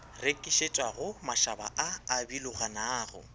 rekišetšwago mašaba a a biloganago